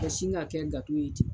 Ka sin ka kɛ ye ten.